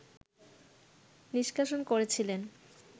নিষ্কাশন করেছিলেন